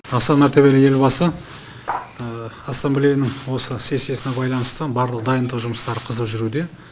аса мәртебелі елбасы ассамблеяның осы сессиясына байланысты барлық дайындық жұмыстары қызу жүруде